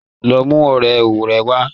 Lọ mú ọ̀rẹ́ rẹ wa